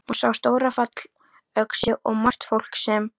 Hún sá stóra fallöxi og margt fólk sem.